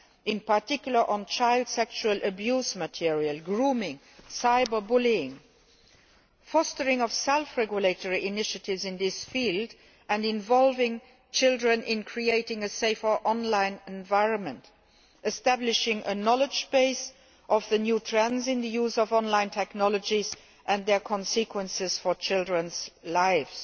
in particular, on child sexual abuse material, grooming and cyber bullying, fostering of self regulatory initiatives in this field and involving children in creating a safer online environment, establishing a knowledge base of the new trends in the use of online technologies and their consequences for children's lives.